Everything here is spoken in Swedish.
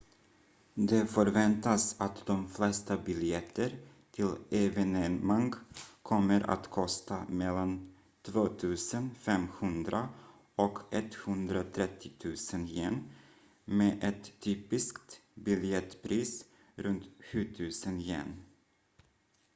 det förväntas att de flesta biljetter till evenemang kommer att kosta mellan 2 500 och 130 000 yen med ett typiskt biljettpris runt 7 000 yen